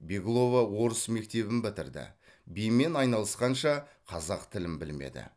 беглова орыс мектебін бітірді бимен айналысқанша қазақ тілін білмеді